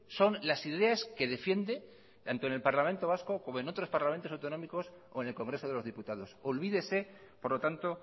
son las ideas que defiende tanto en el parlamento vasco como en otros parlamentos autonómicos o en el congreso de los diputados olvídese por lo tanto